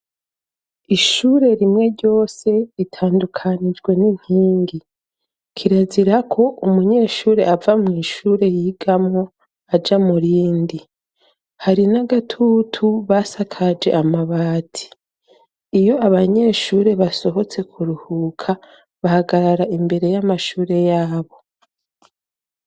Ishure rimwe ryose ritandukanijwe n'inkingi kirazira ko umunyeshuri ava mu ishure yigamwo aja murindi hari n'agatutu basakaje amabati iyo abanyeshuri basohotse kuruhuka bahagarara imbere y'amashure yabo.